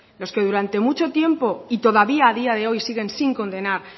los que durante mucho tiempo y todavía a día de hoy siguen sin condenar